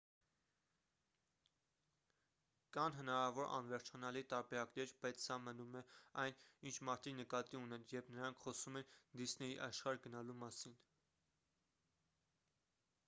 կան հնարավոր անվերջանալի տարբերակներ բայց սա մնում է այն ինչ մարդիկ նկատի ունեն երբ նրանք խոսում են դիսնեյի աշխարհ գնալու մասին